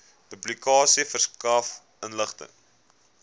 publikasie verskaf inligting